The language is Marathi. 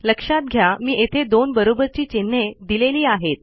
लक्षात घ्या मी येथे दोन बरोबरची चिन्हे दिलेली आहेत